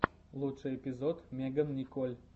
лучший эпизод меган николь